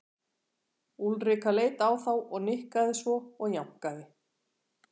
Úlrika leit á þá og nikkaði svo og jánkaði.